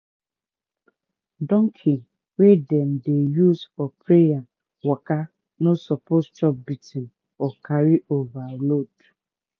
donkey wey dem dey use for prayer waka no suppose chop beating or carry overload